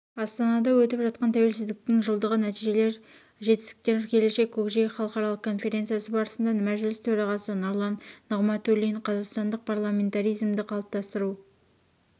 астанада өтіп жатқан тәуелсіздіктің жылдығы нәтижелер жетістіктер келешек көкжиегі халықаралық конференциясы барысында мәжіліс төрағасы нұрлан нығматулин қазақстандық парламентаризмді қалыптастыру